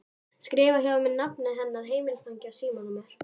Skrifar hjá sér nafnið hennar, heimilisfangið og símanúmerið.